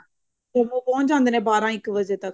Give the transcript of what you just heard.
ਉਹ ਪਹੁੰਚ ਜਾਂਦੇ ਨੇ ਬਾਰਹ ਇੱਕ ਵਜੇ ਤੱਕ